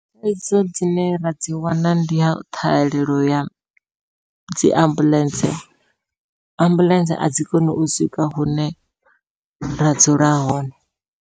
Thaidzo dzine ra dzi wana ndiya ṱhahelelo ya dzi ambuḽentse, ambuḽentse a dzi koni u swika hune ra dzula hone.